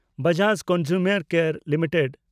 Bajaj consumer care limited